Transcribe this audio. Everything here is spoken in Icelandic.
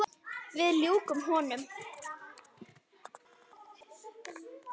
Við ljúkum honum.